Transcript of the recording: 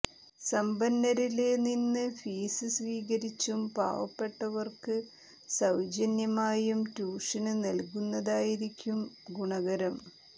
സമ്പന്നരില് നിന്ന് ഫീസ് സ്വീകരിച്ചും പാവപ്പെട്ടവര്ക്ക് സൌജന്യമായും ട്യൂഷന് നല്കുന്നതായിരിക്കും ഗുണകരം